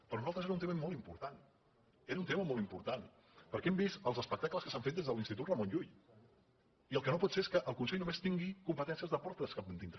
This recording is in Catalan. per nosaltres era un tema molt important perquè hem vist els espectacles que s’han fet des de l’institut ramon llull i el que no pot ser és que el consell només tingui competències de portes cap endintre